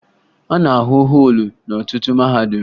A na-ahụ họọlụ n'ọtụtụ mahadum